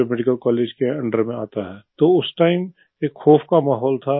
जो medical college के under में आता है तो उस टाइम एक खौफ़ का माहौल था